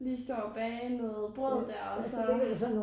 Lige stå og bage noget brød der og så